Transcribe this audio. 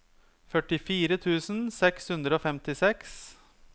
førtifire tusen seks hundre og femtiseks